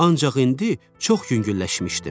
Ancaq indi çox yüngülləşmişdim.